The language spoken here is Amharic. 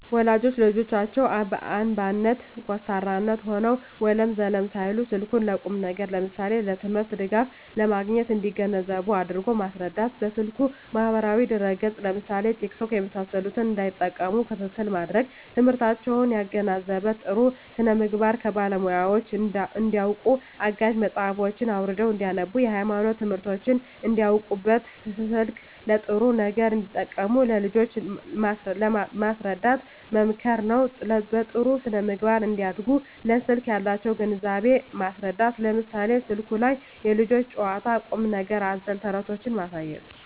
ወላጆች ለልጆቻቸው አምባገነን (ኮስታራ) ሆነው ወለም ዘለም ሳይሉ ስልኩን ለቁም ነገር ለምሳሌ ለትምህርት ድጋፍ ለማግኘት እንዲገነዘቡ አድርጎ ማስረዳት። በስልኩ ማህበራዊ ድረ ገፅ ለምሳሌ ቲክቶክ የመሳሰሉትን እንዳይጠቀሙ ክትትል ማድረግ። ትምህርታቸውን ያገናዘበ , ጥሩ ስነምግባር ከባለሙያወች እንዳውቁበት , አጋዥ መፅሀፎችን አውርደው እንዳነቡብት, የሀይማኖት ትምህርቶችን እንዳውቁበት , ስልክን ለጥሩ ነገር እንዲጠቀሙ ለልጆች ማስረዳት መምከር ነው። በጥሩ ስነ-ምግባር እንዲያድጉ ለስልክ ያላቸውን ግንዛቤ ማስረዳት ለምሳሌ ስልኩ ላይ የልጆች ጨዋታ ቁም ነገር አዘል ተረቶችን ማሳየት